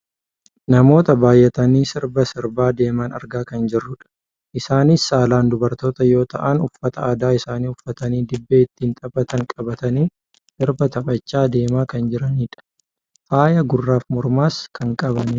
Namoota baayyatanii sirba sirbaa deeman argaa kan jirrudha. Isaanis saalaan dubartoota yoo ta'an uffata aadaa isaanii uffatanii dibbee ittiin taphatan qabatanii sirba taphachaa deemaa kan jiranidha. Faaya gurraaf mormarraas kan qabanidha.